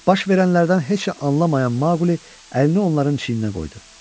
Baş verənlərdən heç nə anlamayan Maqli əlini onların çiyninə qoydu.